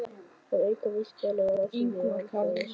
Að auka vísindalegar rannsóknir og alþjóðasamvinnu.